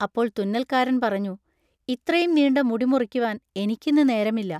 അപ്പോൾ തുന്നൽക്കാരൻ പറഞ്ഞു, ഇത്രയും നീണ്ട മുടി മുറിക്കുവാൻ എനിക്കിന്ന് നേരമില്ല.